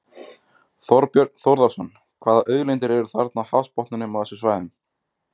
Þorbjörn Þórðarson: Hvaða auðlindir eru þarna á hafsbotninum á þessum svæðum?